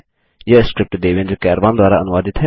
यह स्क्रिप्ट देवेन्द्र कैरवान द्वारा अनुवादित है